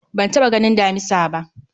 Ban taɓa ganin damisa ba